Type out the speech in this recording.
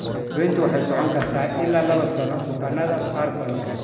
Daaweyntu waxay socon kartaa ilaa laba sano bukaanada qaarkood.